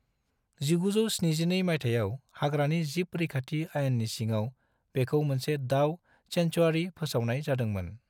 1972 मायथाइयाव हाग्रानि जिब रैखाथि आयेननि सिङाव बेखौ मोनसे दाव सेंटिउआरि फोसावनाय जादों मोन।